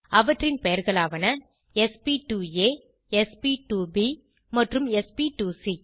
அவற்றின் பெயர்களாவன sp2ஆ sp2ப் மற்றும் sp2சி